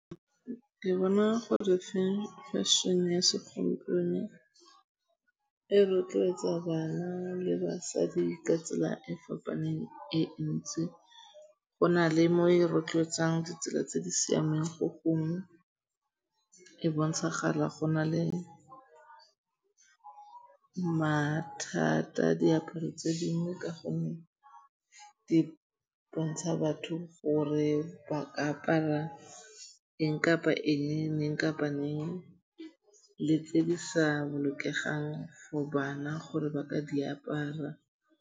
Ke bona gore fashion-e ya segompieno e rotloetsa bana le basadi ka tsela e fapaneng e ntsi. Go na le mo e rotloetsang ditsela tse di siameng go gong. E bontshagala go na le mathata diaparo tse dingwe ka gonne di bontsha batho gore ba ka apara eng kapa eng, neng kapa neng le tse di sa bolokegang for bana gore ba ka di apara.